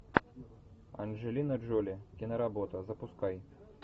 анджелина джоли киноработа запускай